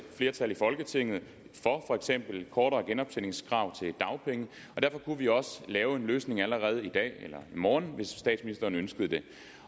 flertal i folketinget for for eksempel et kortere genoptjeningskrav til dagpenge og derfor kunne vi også lave en løsning allerede i dag eller i morgen hvis statsministeren ønskede det